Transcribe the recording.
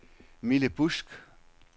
Mille Busk